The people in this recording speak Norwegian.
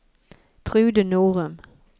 Trude Norum